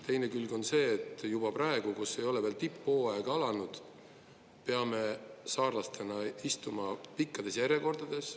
Teine külg on see, et juba praegu, kus ei ole veel tipphooaeg alanud, peame saarlastena istuma pikkades järjekordades.